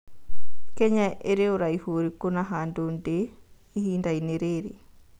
Kenya ĩrĩ ũraihu ũrikũ na handũ ndĩ ĩhindainĩ rĩrĩ